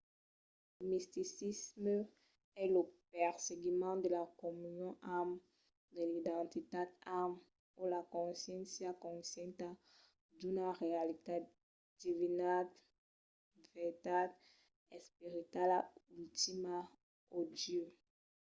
lo misticisme es lo perseguiment de la comunion amb de l'identitat amb o la consciéncia conscienta d'una realitat divinitat vertat esperitala ultima o dieu